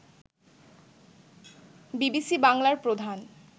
BBC বাংলার প্রধান